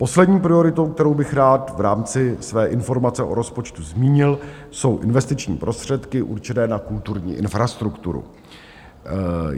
Poslední prioritou, kterou bych rád v rámci své informace o rozpočtu zmínil, jsou investiční prostředky určené na kulturní infrastrukturu.